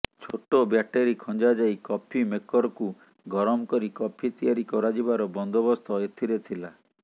ଛୋଟ ବ୍ୟାଟେରି ଖଞ୍ଜା ଯାଇ କଫି ମେକର୍କୁ ଗରମ କରି କଫି ତିଆରି କରାଯିବାର ବନ୍ଦୋବସ୍ତ ଏଥିରେ ଥିଲା